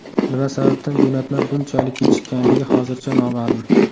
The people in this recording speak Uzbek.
Nima sababdan jo‘natma bunchalik kechikkanligi hozircha noma’lum.